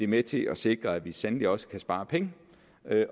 med til at sikre at vi sandelig også kan spare penge